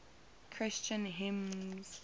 christian hymns